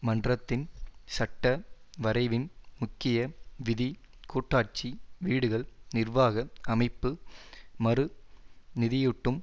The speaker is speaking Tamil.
மன்றத்தின் சட்ட வரைவின் முக்கிய விதி கூட்டாட்சி வீடுகள் நிர்வாக அமைப்பு மறு நிதியூட்டும்